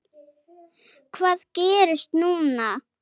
Hvað gerist núna?